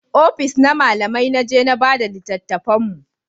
Ofis na malamai na je na bada littatafan mu